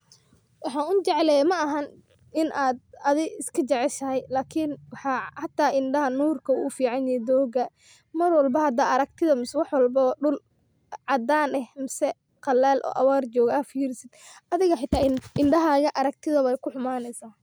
Waxaan ujeclehe maaxan in aad adhiga iskajeceshay lakin waxaa hata indaha muurka uu ufican yahy dooga. Mar walba hadaa aragtidha mise wax walbabo dul cadaan eh mise qalaal oo awaar joogo aa firisid adhiga hata indahaaga aragtidha ayaa kuxumanesaa.